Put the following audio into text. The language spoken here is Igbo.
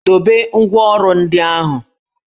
Dobe ngwá ọrụ ndị ahụ!